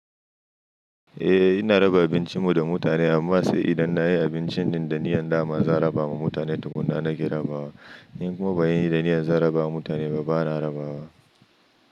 Eh ina raba abincin mu da mutane amma sai idan nayi abincin din da niyyar dama za a raba ma mutane tukuna nake rabawa. In kuma ban yi da niyyar zan raba wa mutane ba, bana rabawa.